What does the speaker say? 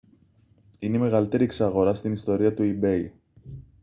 είναι η μεγαλύτερη εξαγορά στην ιστορία του ebay